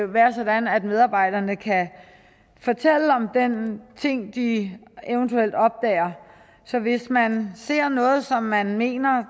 være sådan at medarbejderne kan fortælle om den ting de eventuelt opdager så hvis man ser noget som man mener